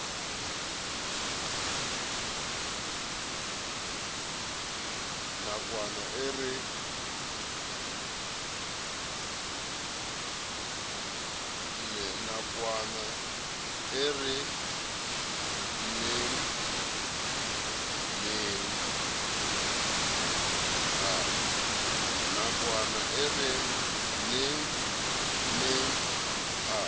nakwana e re nengneng a